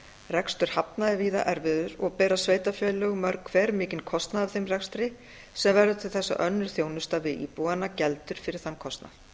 rekstur hafna er víða erfiður og bera sveitarfélög mörg hver mikinn kostnað af þeim rekstri sem verður til þess að önnur þjónusta við íbúana geldur fyrir þann kostnað